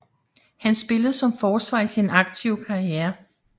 Han spillede som forsvar i sin aktive karriere